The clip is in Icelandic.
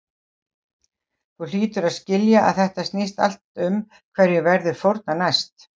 Þú hlýtur að skilja að þetta snýst allt um hverjum verður fórnað næst.